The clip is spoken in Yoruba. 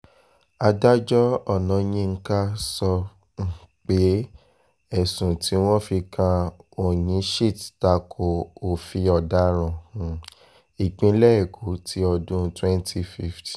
adájọ́ ọ̀náyinka sọ um pé ẹ̀sùn tí wọ́n fi kan onyinchit ta ko òfin ọ̀daràn um ìpínlẹ̀ èkó ti ọdún twenty fifteen